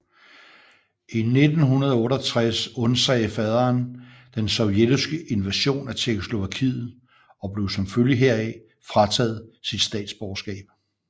I 1968 undsagde faderen den sovjetiske invasion af Tjekkoslovakiet og blev som følge heraf frataget sit statsborgerskab